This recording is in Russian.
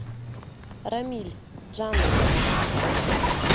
рамиль джаным